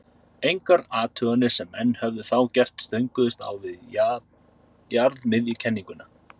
engar athuganir sem menn höfðu þá gert stönguðust á við jarðmiðjukenninguna